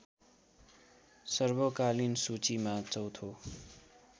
सर्वकालीन सूचीमा चौथो